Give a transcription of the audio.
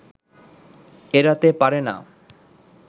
এড়াতে পারে না